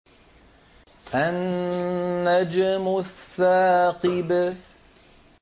النَّجْمُ الثَّاقِبُ